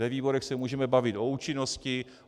Ve výborech se můžeme bavit o účinnosti.